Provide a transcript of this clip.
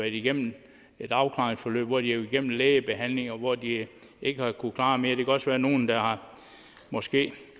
igennem et afklaringsforløb hvor de har en lægebehandling og hvor de ikke har kunnet klare mere der kan også være nogle der måske